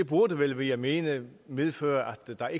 burde vel ville jeg mene medføre at der